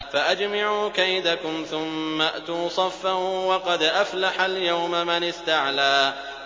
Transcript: فَأَجْمِعُوا كَيْدَكُمْ ثُمَّ ائْتُوا صَفًّا ۚ وَقَدْ أَفْلَحَ الْيَوْمَ مَنِ اسْتَعْلَىٰ